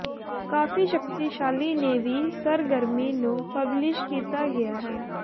ਕਾਫ਼ੀ ਸ਼ਕਤੀਸ਼ਾਲੀ ਨੇ ਵੀ ਸਰਗਰਮੀ ਨੂੰ ਪਬਲਿਸ਼ ਕੀਤਾ ਗਿਆ ਹੈ